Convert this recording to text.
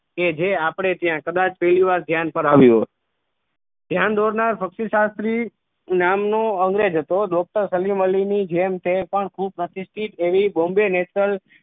કે જે આપણે ત્યાં કદાચ પહેલી વાર ધ્યાન પર આવ્યું ધ્યાન દોરનાર પક્ષી શાસ્ત્રી નામ નો અંગ્રેજ હતો doctor સલીમ અલી ની જેમ તે પણ ખૂબ પ્રતિસ્થિત એવી bombe national